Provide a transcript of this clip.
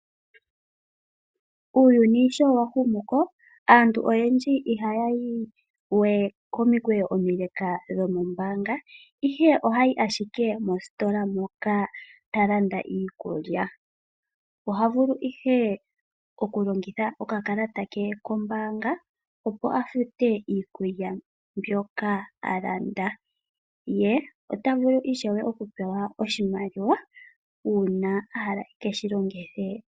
Uuyuni sho wa humuko aantu oha ya yi we komukweyo omileka dho ko mbaanga ihe oha ya yi ashike mositola moka talanda iikulya. Ohavulu ihe oku longitha okakalata ke ko mbaanga opo afute iikulya mbyoka a landa, ye otavulu ishewe oku pewa oshimaliwa uuna ahala eke shilongithe.